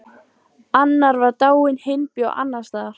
Annar var dáinn, hinn bjó annars staðar.